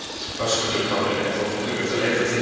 Höskuldur Kári: Er fólk duglegt að leita til ykkar?